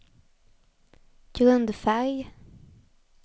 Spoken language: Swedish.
grundfärg